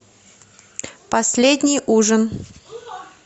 последний ужин